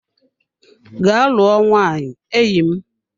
Gaa lụọ nwaanyị enyi m!